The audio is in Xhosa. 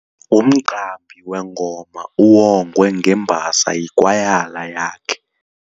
Umqambi wengoma uwongwe ngembasa yikwayala yakhe.